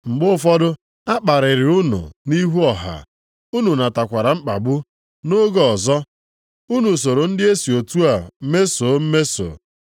Mgbe ụfọdụ, a kparịrị unu nʼihu ọha, unu natakwara mkpagbu. Nʼoge ọzọ, unu soro ndị e si otu a mesoo mmeso.